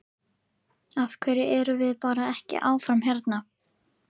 Af hverju erum við bara ekki áfram hérna?